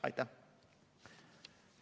Aitäh!